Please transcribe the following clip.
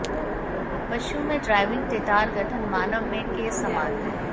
पशुओं में ड्राइविंग टैटार गठन मानव में के समान है